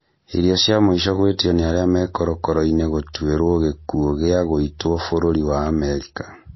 Irio cia mũico gwĩtio nĩ arĩa me korokoro-inĩ gũtuĩrwo gĩkuo gĩa gũitwo bũrũri wa Amerika